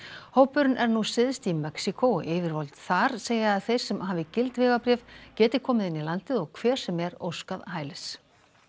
hópurinn er nú syðst í Mexíkó og yfirvöld þar segja að þeir sem hafi gild vegabréf geti komið inn í landið og hver sem er óskað hælis